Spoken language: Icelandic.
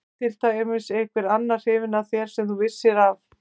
Var til dæmis einhver annar hrifinn af þér sem þú vissir af?